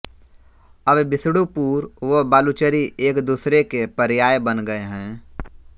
अब विष्णुपुर व बालूचरी एकदूसरे के पर्याय बन गए हैं